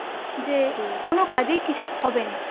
যে কোনো কাজেই কিছু হবে না